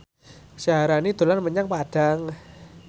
Syaharani dolan menyang Padang